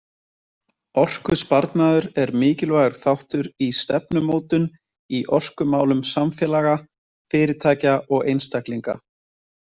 Orkusparnaður er mikilvægur þáttur í stefnumótun í orkumálum samfélaga, fyrirtækja og einstaklinga.